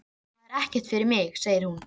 Það er ekkert fyrir mig, segir hún.